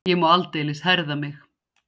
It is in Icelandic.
Ég má aldeilis herða mig.